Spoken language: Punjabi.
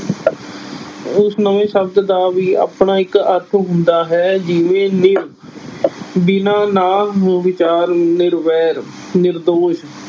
ਉਸ ਨਵੇਂ ਸ਼ਬਦ ਦਾ ਵੀ ਆਪਣਾ ਇੱਕ ਅਰਥ ਹੁੰਦਾ ਹੈ, ਜਿਵੇਂ ਨਿ ਬਿਨਾਂ ਨਾ ਵਿਚਾਰ ਨਿਰਵੈਰ ਨਿਰਦੋਸ